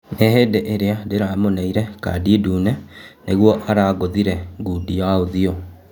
"Ní hĩ ndĩ ĩ rĩ a ndĩ ramuneire kandi ndune nĩ guo arangûthire ngundi ya ũthiũ."